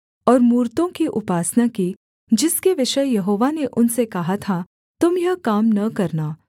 और मूरतों की उपासना की जिसके विषय यहोवा ने उनसे कहा था तुम यह काम न करना